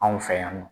Anw fɛ yan nɔ